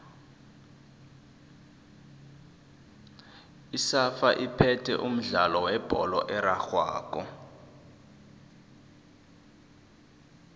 isafa iphethe umdlalo webholo erarhwako